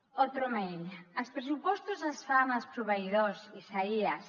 otro mail els pressupostos els fan els proveïdors isaías